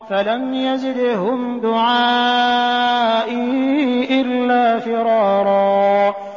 فَلَمْ يَزِدْهُمْ دُعَائِي إِلَّا فِرَارًا